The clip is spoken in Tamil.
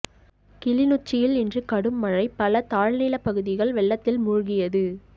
கிளிநொச்சியில் இன்று கடும் மழை பல தாழ்நிலப் பகுதிகள் வெள்ளத்தில் மூழ்கியது